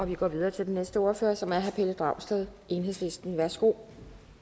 vi går videre til den næste ordfører som er herre pelle dragsted enhedslisten værsgo